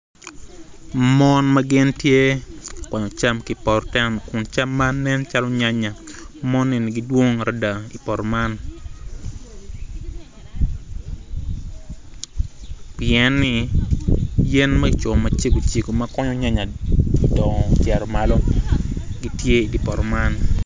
Mon ma gitye ka kwanyo cam ki i poto kin cam man gitye. Mon eni gidwong adada pien ni yen ma kicomo macego cego me yanya gudongo gucito malo gitye i dye poto man.